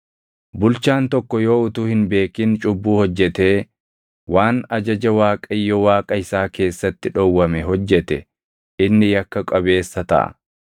“ ‘Bulchaan tokko yoo utuu hin beekin cubbuu hojjetee waan ajaja Waaqayyo Waaqa isaa keessatti dhowwame hojjete inni yakka qabeessa taʼa.